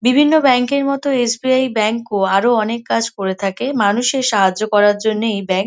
বিভিন্ন ব্যাংক এর মতো এস.বি.আই. ব্যাংক ও আরও অনেক কাজ করে থাকে মানুষের সাহায্য করার জন্য এই ব্যাংক --